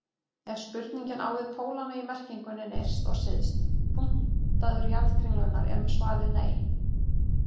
Ef spurningin á við pólana í merkingunni nyrsti og syðsti punktur jarðkringlunnar er svarið nei.